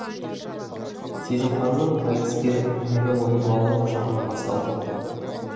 сезімханның айтыскерлік өнері оның балалық шағынан басталды